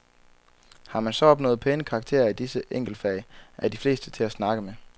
Har man så opnået pæne karakterer i disse enkeltfag, er de fleste til at snakke med.